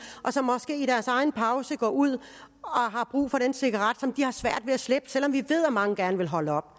og som måske i deres egen pause går ud og har brug for den cigaret som de har svært ved at slippe selv om vi ved at mange gerne vil holde op